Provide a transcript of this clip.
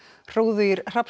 hróðugir